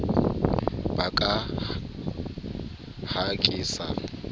ba ka ha ke sa